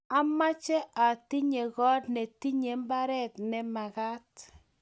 ameche atinye koot ne tinyei mbaret ne mekat